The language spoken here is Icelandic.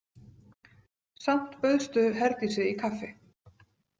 Samt bauðstu Herdísi í kaffi.